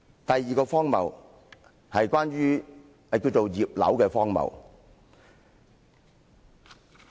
第二個荒謬，叫"葉劉"的荒謬。